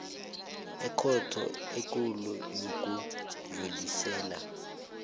ekhotho ekulu yokudlulisela